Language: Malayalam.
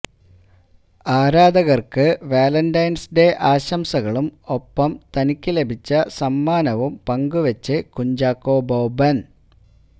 ആരാധകര്ക്ക് വാലന്റൈന്സ് ഡേ ആശംസകളും ഒപ്പം തനിക്ക് ലഭിച്ച സമ്മാനവും പങ്കുവച്ച് കുഞ്ചാക്കോ ബോബന്